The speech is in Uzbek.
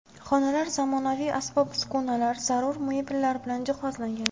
Xonalar zamonaviy asbob-uskunalar, zarur mebellar bilan jihozlangan.